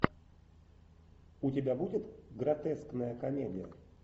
у тебя будет гротескная комедия